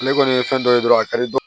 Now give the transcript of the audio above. Ne kɔni ye fɛn dɔ ye dɔrɔn a ka di